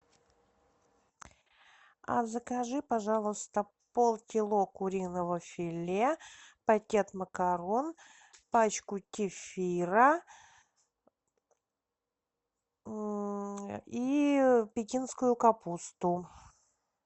а закажи пожалуйста полкило куриного филе пакет макарон пачку кефира и пекинскую капусту